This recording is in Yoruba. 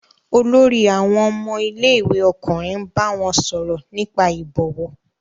Olórí àwọn ọmọ ilé-ìwé ọkùnrin bá wọn sọ̀rọ̀ nípa ìbọ̀wọ̀?